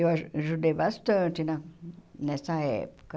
Eu aj ajudei bastante na nessa época.